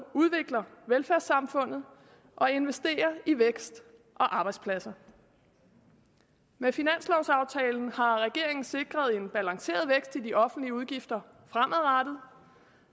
udvikler velfærdssamfundet og investerer i vækst og arbejdspladser med finanslovsaftalen har regeringen sikret en balanceret vækst i de offentlige udgifter fremadrettet